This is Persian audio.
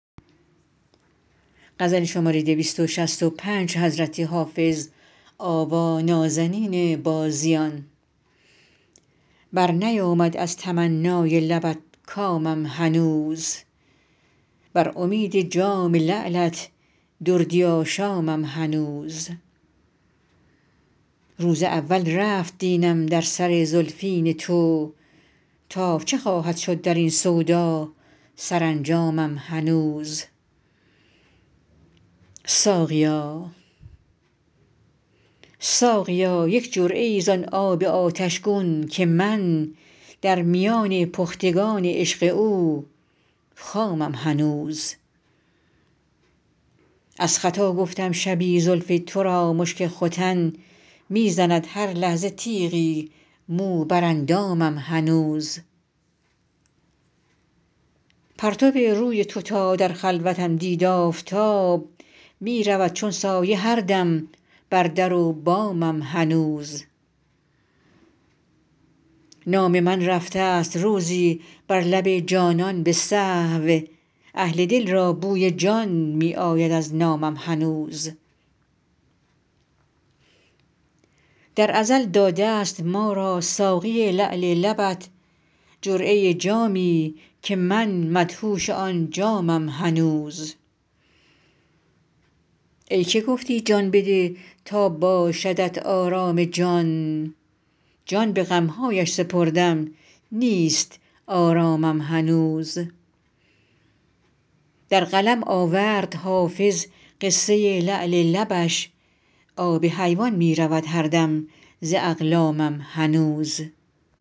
برنیامد از تمنای لبت کامم هنوز بر امید جام لعلت دردی آشامم هنوز روز اول رفت دینم در سر زلفین تو تا چه خواهد شد در این سودا سرانجامم هنوز ساقیا یک جرعه ای زان آب آتش گون که من در میان پختگان عشق او خامم هنوز از خطا گفتم شبی زلف تو را مشک ختن می زند هر لحظه تیغی مو بر اندامم هنوز پرتو روی تو تا در خلوتم دید آفتاب می رود چون سایه هر دم بر در و بامم هنوز نام من رفته ست روزی بر لب جانان به سهو اهل دل را بوی جان می آید از نامم هنوز در ازل داده ست ما را ساقی لعل لبت جرعه جامی که من مدهوش آن جامم هنوز ای که گفتی جان بده تا باشدت آرام جان جان به غم هایش سپردم نیست آرامم هنوز در قلم آورد حافظ قصه لعل لبش آب حیوان می رود هر دم ز اقلامم هنوز